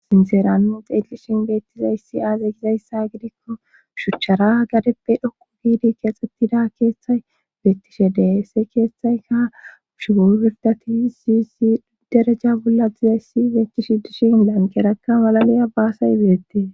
Sinseranu xeelishin beettizayssi aazey gizayssa gidikko shuchchara gadeppe dhokku giidi keexxettida keetthay beettishe deese keetthayka shugo pirdati siysi dereja bolla dizayssi beettishi dishin banqerakka malaliya baasay beettie.